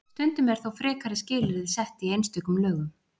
Stundum eru þó frekari skilyrði sett í einstökum lögum.